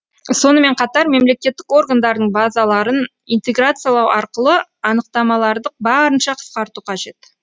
сонымен қатар мемлекеттік органдардың базаларын интеграциялау арқылы анықтамаларды барынша қысқарту қажет